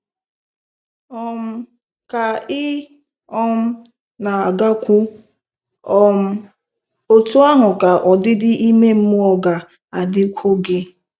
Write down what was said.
um Ka ị um na-agakwu, um otú ahụ ka ọdịdị ime mmụọ ga-adịkwu gị.